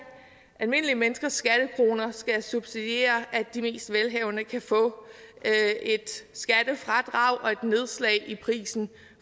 almindelige menneskers skattekroner skal subsidiere at de mest velhavende kan få et skattefradrag og et nedslag i prisen